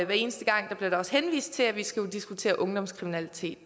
hver eneste gang henvist til at vi skal diskutere ungdomskriminalitet